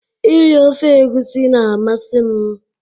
Iri ofe egusi na-amasị m